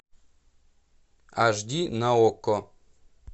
аш ди на окко